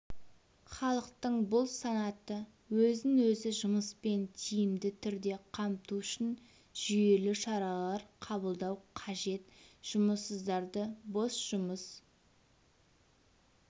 халықтың бұл санаты өзін-өзі жұмыспен тиімді түрде қамту үшін жүйелі шаралар қабылдау қажет жұмыссыздарды бос жұмыс